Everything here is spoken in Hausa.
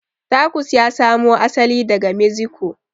Tacos ya samu asali daga mexico